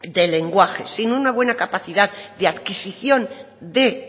de lenguaje sin una buena capacidad de adquisición de